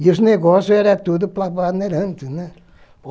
E os negócios eram tudo para a Bandeirantes, né.